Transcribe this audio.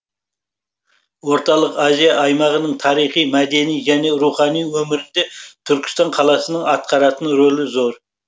орталық азия аймағының тарихи мәдени және рухани өмірінде түркістан қаласының атқаратын рөлі зор